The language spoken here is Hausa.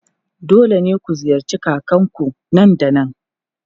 Dole ne ku ziyarci kakanku nan da nan!